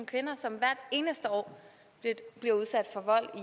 kvinder som hvert eneste år bliver udsat for vold